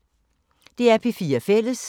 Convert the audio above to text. DR P4 Fælles